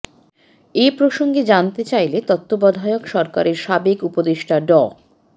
এ প্রসঙ্গে জানতে চাইলে তত্ত্বাবধায়ক সরকারের সাবেক উপদেষ্টা ড